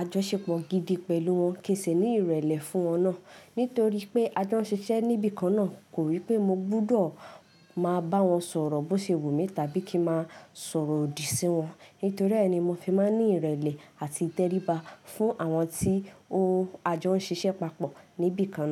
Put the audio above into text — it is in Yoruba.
àjọṣepọ̀ gidi pẹ̀lú wọn, kí n sì ní ìrẹ̀lẹ̀ fún wọn náà. Nítorí pé a jọ ń ṣiṣẹ́ níbi kan náà, kò rí pé mo gbúdọ̀ máa bá wọn sọ̀rọ̀ bó ṣe wù mí tàbí kí ń máa sọ̀rọ̀ òdì sí wọn. Nítorí ẹ ní mo fi máa ń ní ìrẹ̀lẹ̀ àti ìtẹríba fún àwọn tí o a jọ ń ṣiṣẹ́ papọ̀ níbi kan náà.